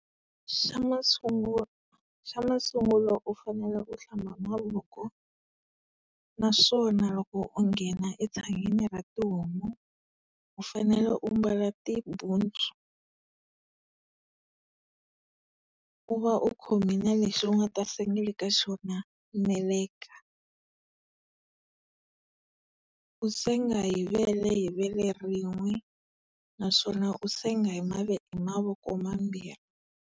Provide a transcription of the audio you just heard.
Xa masungulo, xa masungulo u fanela u hlamba mavoko, naswona loko u nghena etshangeni ra tihomu, u fanele u mbala tibutsu u va u khomile lexi u nga ta sengela ka xona meleka. U senga hi vele hi vele rin'we, naswona u senga hi hi mavoko mambirhi.